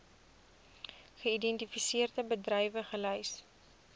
geïdentifiseerde bedrywe gelys